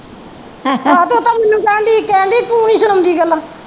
ਸੁਣਾਉਂਦੀ ਗੱਲਾਂ।